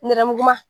Nɛrɛmuguman